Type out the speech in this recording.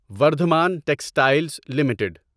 Vardhman textiles limited